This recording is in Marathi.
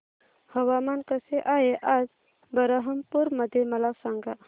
हवामान कसे आहे आज बरहमपुर मध्ये मला सांगा